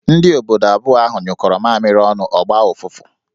Ndị obodo abụọ ahụ nyụkọro mamịrị ọnụ, ọ gbaa ọfụfụ